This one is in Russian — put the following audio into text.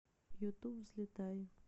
ютуб взлетай